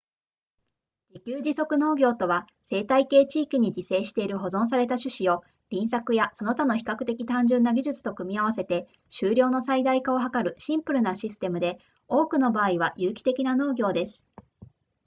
自給自足農業とは生態系地域に自生している保存された種子を輪作やその他の比較的単純な技術と組み合わせて収量の最大化を図るシンプルなシステムで多くの場合は有機的な農業です